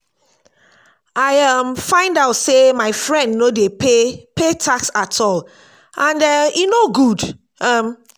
i um find out say my friend no dey pay pay tax at all and um e no good um